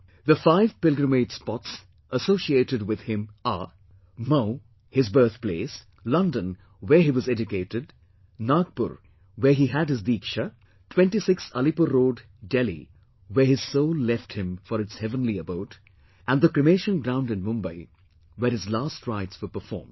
The five pilgrimage spots associated with him Mhow, his birthplace; London, where he was educated, Nagpur, where he had his 'Deeksha'; 26, Alipur Road, Delhi, where his soul left him for its heavenly abode; and the cremation ground in Mumbai where his last rites were performed